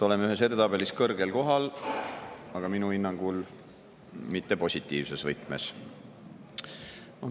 Oleme ühes edetabelis kõrgel kohal, aga minu hinnangul mitte positiivses võtmes.